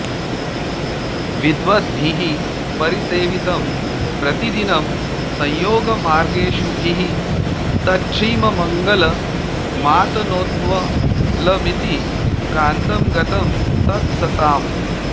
विद्वद्भिः परिसेवितं प्रतिदिनं संयोगमार्गेषुभिः तच्छ्रीमङ्गलमातनोत्वलमिति प्रान्तं गतं तत्सताम्